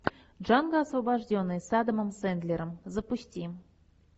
джанго освобожденный с адамом сэндлером запусти